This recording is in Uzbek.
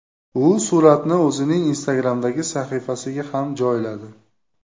U suratni o‘zining Instagram’dagi sahifasiga ham joyladi.